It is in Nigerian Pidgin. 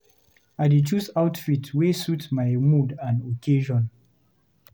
I dey choose outfit wey suit my mood and occasion.